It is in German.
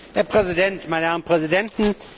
Herr Präsident, meine Herren Präsidenten!